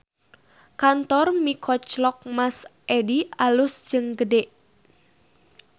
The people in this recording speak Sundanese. Kantor Mie Koclok Mas Edi alus jeung gede